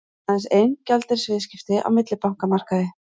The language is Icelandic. Aðeins ein gjaldeyrisviðskipti á millibankamarkaði